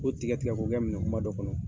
k'O tigɛ tigɛ ko' kɛ minɛ kunba dɔ kɔnɔ